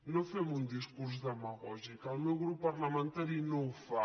no fem un discurs demagògic el meu grup parlamentari no el fa